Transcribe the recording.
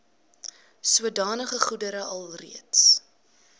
sodanige goedere alreeds